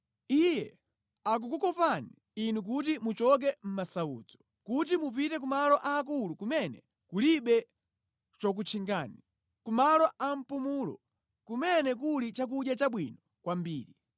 “Iye akukukopani inu kuti muchoke mʼmasautso, kuti mupite ku malo aakulu kumene kulibe chokutchingani, kumalo a mpumulo kumene kuli chakudya chabwino kwambiri.